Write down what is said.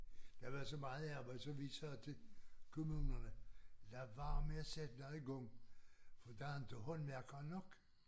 Der var så meget arbejde så vi sagde til kommunerne lad være med at sætte det i gang for der inte håndværkere nok